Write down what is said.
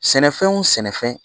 Sɛnɛfɛn wo sɛnɛfɛn